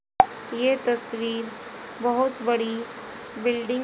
ये तस्वीर बहोत बड़ी बिल्डिंग --